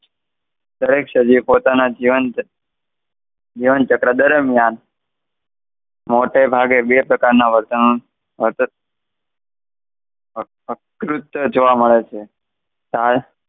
દરેક સજીવ પોતાના જીવન, જીવન ચક્ર દરમ્યાન, મોટે ભાગે બે પ્રકારના વર્તન, જોવા મળે છે.